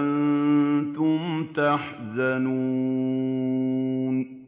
أَنتُمْ تَحْزَنُونَ